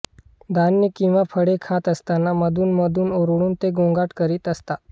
धान्य किंवा फळे खात असताना मधून मधून ओरडून ते गोंगाट करीत असतात